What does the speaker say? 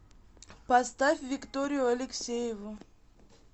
поставь викторию алексееву